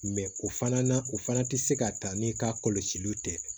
o fana na o fana tɛ se ka taa n'i ka kɔlɔsiliw tɛ